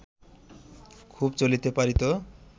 খুব চলিতে পারিত